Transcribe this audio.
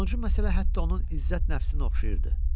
Sonuncu məsələ hətta onun izzət nəfsinə oxşayırdı.